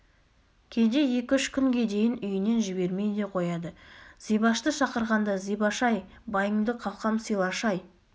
кейде екі-үш күнге дейін үйінен жібермей де қояды зибашты шақырғанда зибаш-ай байыңды қалқам сыйлашы-ай